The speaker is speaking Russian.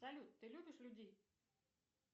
салют ты любишь людей